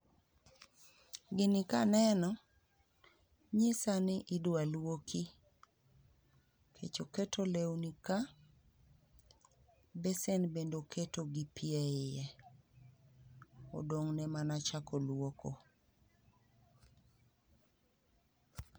Gikaneno, nyisani idwa luoki. Nikech oketo lewni ka, besen bende oketo gi pi eiye. Odong'ne mana chako luoko.